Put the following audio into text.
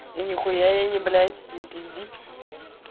и ни хуя я не блять не пизди